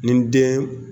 Ni den